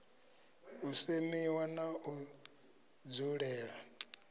u semiwa na u dzulela